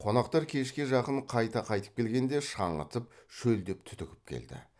қонақтар кешке жақын қайта қайтып келгенде шаңытып шөлдеп түтігіп келді